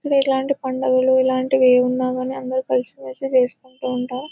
ఇలాంటి పండుగలు ఇలాంటివి ఏమైనా ఉన్నాకానీ అందరూ కలిసి మెలిసి చేసుకుంటూ ఉంటారు.